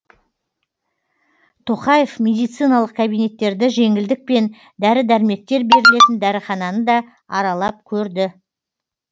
тоқаев медициналық кабинеттерді жеңілдікпен дәрі дәрмектер берілетін дәріхананы да аралап көрді